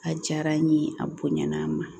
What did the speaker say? A diyara n ye a bonyana a ma